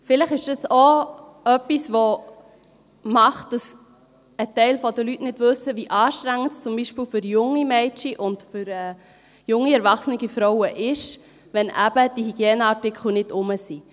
Vielleicht ist das auch etwas, das macht, dass ein Teil der Leute nicht weiss, wie anstrengend es zum Beispiel für junge Mädchen und für junge erwachsene Frauen ist, wenn eben die Hygieneartikel nicht da sind.